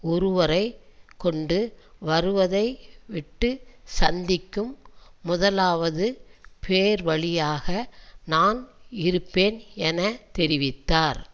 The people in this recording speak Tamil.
ஒருவரை கொண்டுவருவதை விட்டு சிந்திக்கும் முதலாவது பேர்வழியாக நான் இருப்பேன் என தெரிவித்தார்